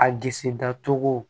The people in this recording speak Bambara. A disi da cogo